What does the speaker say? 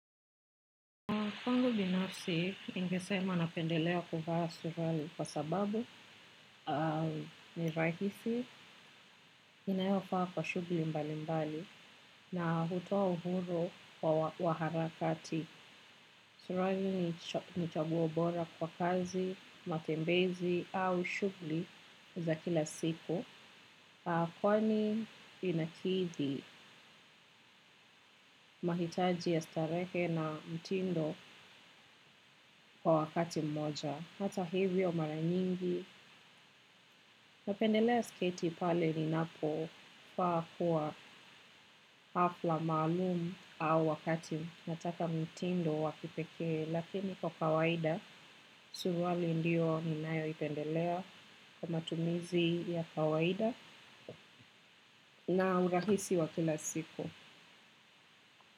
Kwangu binafsi ningesema napendelea kuvaa suruali kwa sababu ni rahisi inayofaa kwa shughuli mbalimbali na hutoa uhuru wa harakati. Suruali ni chaguo bora kwa kazi, matembezi au shughuli za kila siku. Kwani inakidhi mahitaji ya starehe na mtindo kwa wakati mmoja hata hivyo mara nyingi. Napendelea sketi pale ninapofaa kuwa hafla maalumu au wakati nataka mtindo wa kipekee lakini kwa kawaida, suruali ndiyo ninayoipendelea kwa matumizi ya kawaida na urahisi wa kila siku.